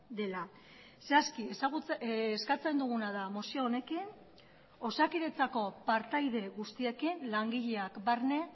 dela zehazki eskatzen duguna da mozio honekin osakidetzako partaide guztiekin langileak barne